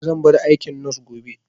Zan bar aikin nos gobe